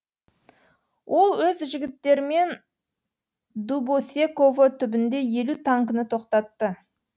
ол өз жігіттерімен дубосеково түбінде елу танкіні тоқтатты